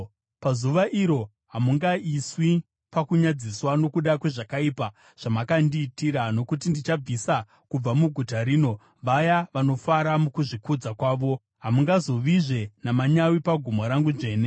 Pazuva iro hamungaiswi pakunyadziswa nokuda kwezvakaipa zvamakandiitira, nokuti ndichabvisa kubva muguta rino vaya vanofara mukuzvikudza kwavo. Hamungazovizve namanyawi pagomo rangu dzvene.